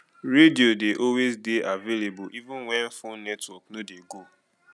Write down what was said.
radio dey always dey available even when phone network no dey go